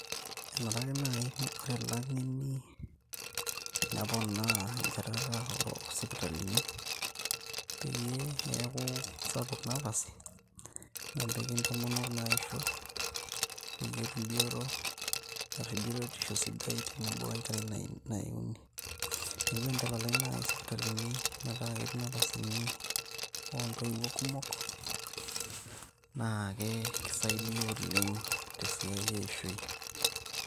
enare ake naaji ore ilang'eni neponaa enchatata osipitalini peyie eeku sapuk napasi napiki intomonok naisho peyie etum bioto ashu biotisho tenebo wenkerai naiuni neeku tenitalalai naaji isipitalini metaa ketii inapasini ontoiwuo kumok naake kisaidia oleng tesiai eishoi.